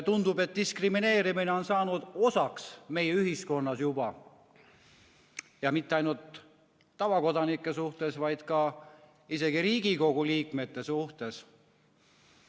Tundub, et diskrimineerimine on juba saanud osaks meie ühiskonnast ja mitte ainult tavakodanike suhtes, vaid isegi Riigikogu liikmete suhtes.